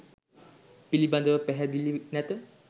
පිළිබඳව පැහැදිලි නැත.